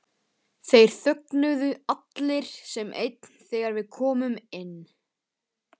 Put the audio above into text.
Þeir þögnuðu allir sem einn þegar við komum inn.